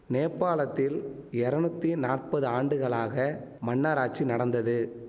நேபாளத்தில் எரநூத்தி நாற்பது ஆண்டுகளாக மன்னராட்சி நடந்தது